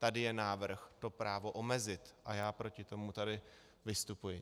Tady je návrh to právo omezit a já proti tomu tady vystupuji.